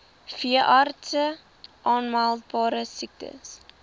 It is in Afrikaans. veeartse aanmeldbare siektes